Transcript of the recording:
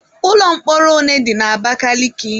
Ụlọ mkpọrọ ole dị na Abakaliki?